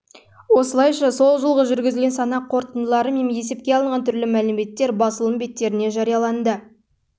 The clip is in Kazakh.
осылайша жылғы жүргізілген санақ қорытындылары мен есепке алынған түрлі мәліметтер басылым беттеріне жарияланды